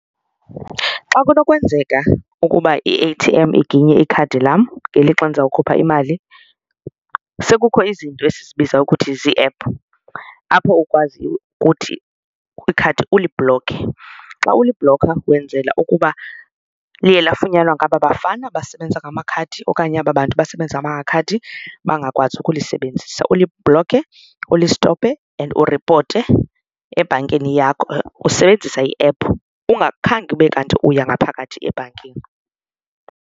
Xa kunokwenzeka ukuba i-A_T_M iginye ikhadi lam ngelixa ndizawukhupha imali, sekukho izinto esizibiza ukuthi zii-app apho ukwaziyo ukuthi kwikhadi ulibhlokhe. Xa ulibhlokha wenzela ukuba liye lafunyanwa ngaba bafana basebenza ngamakhadi okanye aba bantu basebenza ngamakhadi bangakwazi ukulisebenzisa. Ulibhlokhe ulistophe and uripote ebhankini yakho usebenzisa i-app, ungakhange ube kanti uya ngaphakathi ebhankini.